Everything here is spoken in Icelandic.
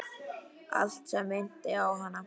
Allt sem minnti á hana.